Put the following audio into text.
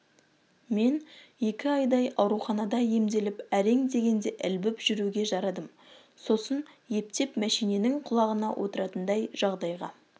мен екі айдай ауруханада емделіп әрең дегенде ілбіп жүруге жарадым сосын ептеп мәшиненің құлағына отыратындай жағдайға